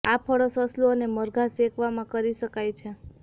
આ ફળો સસલું અને મરઘાં શેકવામાં કરી શકાય છે